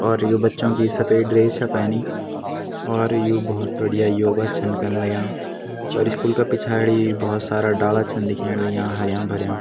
और यु बच्चों की सपेद ड्रेस छा पैनी और यु भोत बढ़िया योगा छन कण लग्याँ और स्कूल का पिछाड़ी भोत सारा डाला छन दिखेंण लग्याँ हर्याँ भर्यां।